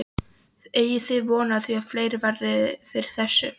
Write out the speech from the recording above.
Eigið þið von á því að fleiri verði fyrir þessu?